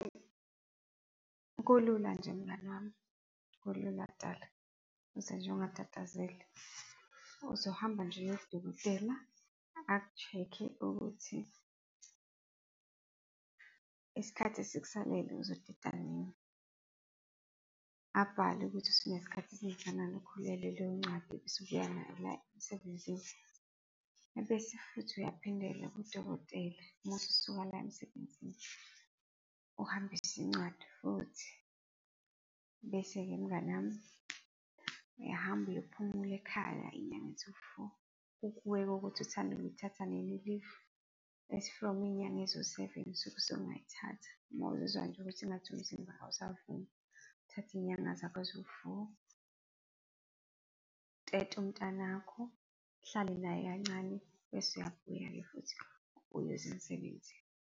Kulula nje mngani wami, kulula uze nje ungatatazeli. Uzohamba nje uye kudokotela aku-check-e ukuthi isikhathi esikusalele uzoteta nini, abhale ukuthi usunesikhathi esingakanani ukhulelwe, leyo ncwadi bese ubuya nayo la emsebenzini. Ebese futhi uyaphindela kudokotela uma ususuka la emsebenzini, uhambise incwadi futhi. Bese-ke mngani wami, uyahamba uyophumula ekhaya izinyanga eziwu-four. Kukuwe-ke ukuthi uthanda ukuyithatha nini i-leave, as from izinyanga eziwu-seven usuke usungayithatha uma uzizwa nje ukuthi engathi umzimba awusavumi. Uthathe izinyanga zakho eziwu-four, utete umntanakho, uhlale naye kancane bese uyabuya-ke futhi uyeza emsebenzini.